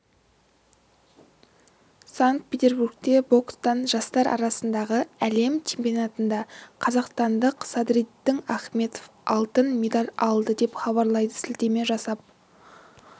санкт-петербургте бокстан жастар арасындағы әлем чемпионатында қазақстандық садриддин ахмедов алтын медаль алды деп хабарлайды сілтеме жасап